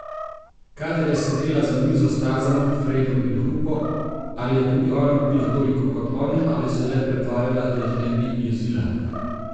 Kadar je sedela za mizo s Tarzanom, Fredom in Hupo, ali je tudi ona pila toliko kot oni ali se je le pretvarjala, da jih ne bi jezila?